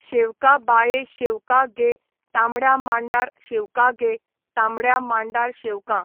शेवका बाये शेवका गे तांबड्या मांडार शेवका गे तांबड्या मांडार शेवकां.